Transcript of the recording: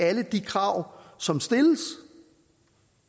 alle de krav som stilles